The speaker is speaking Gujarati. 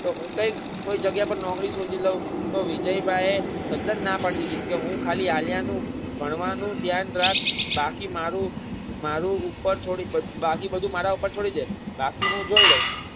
કે હું કંઈક કોઈક જગ્યા ઉપર નોકરી શોધી લવ તો વિજયભાઈએ તદ્દન નાપાડી દીધી કે હું ખાલી આલ્યાનું ભણવાનું ધ્યાન રાખ બાકીમારુ મારૂ ઉપર છોડી બાકી બધું મારા ઉપર છોડીદે બાકી હુ જોય લઈશ